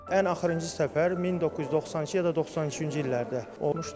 Ən axırıncı səfər 1992 ya da 93-cü illərdə olmuşdu.